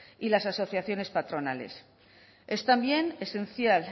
y las asociaciones patronales es también esencial